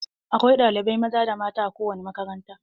Akwai ɗalibai maza da mata a kowane makaranta.